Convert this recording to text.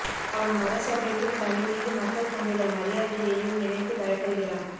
அவன் மதசபைக்கும் தன் மீது மக்கள் கொண்டுள்ள மரியாதையையும் நினைத்துப் பயப்படுகிறான்